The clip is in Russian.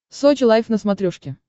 сочи лайф на смотрешке